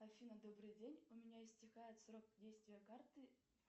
афина добрый день у меня истекает срок действия карты